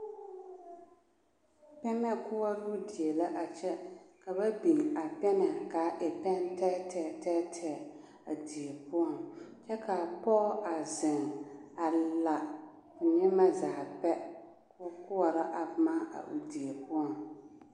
Pɛmɛ koɔroo die la a kyɛ ka ba biŋ a pɛmɛ k'a e pɛŋ tɛɛtɛɛ tɛɛtɛɛ a die poɔŋ kyɛ k'a pɔge a zeŋ a la k'o nyemɛ zaa pɛ k'o koɔrɔ a boma a o die poɔŋ.